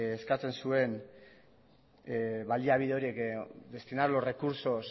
eskatzen zuen baliabide horiek destinar los recursos